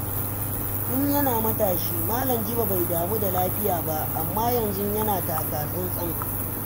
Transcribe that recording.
Tun yana matashi, Malam Jibo bai damu da lafiya ba, amma yanzu yana taka tsantsan.